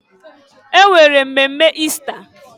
E nwere mmemme Ista.